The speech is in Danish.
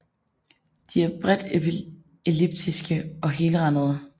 De er bredt elliptiske og helrandede